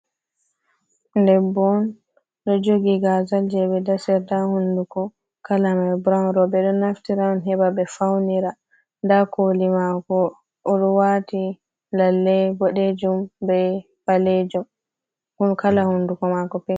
Debbo on do jogi gazal je be dasirta hunduko, kala mai brawn be do naftira on heba be faunira, nda koli mako owati lallei bodejum be balejum, un kala hunduko mako pik.